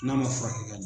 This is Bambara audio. N'a ma furakɛ ka ɲa